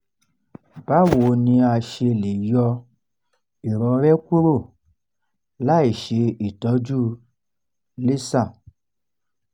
báwo ni a ṣe le yọ ìrọrẹ́ kúrò láìṣe ìtọ́jú laser